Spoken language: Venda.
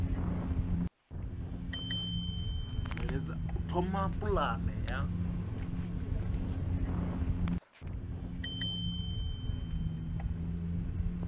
bveledza u thoma pulane ya